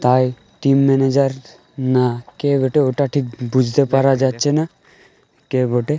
তাই team manager না কে বটে ওটা ঠিক বুঝতে পারা যাচ্ছে না কে বটে।